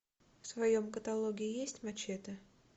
в твоем каталоге есть мачете